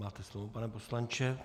Máte slovo, pane poslanče.